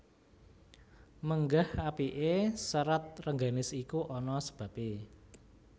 Menggah apiké Serat Rengganis iku ana sebabé